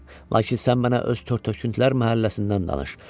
Lakin sən mənə öz tört-töküntülər məhəlləsindən danış.